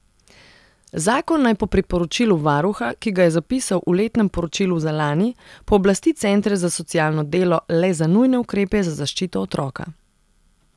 Zakon naj po priporočilu varuha, ki ga je zapisal v letnem poročilu za lani, pooblasti centre za socialno delo le za nujne ukrepe za zaščito otroka.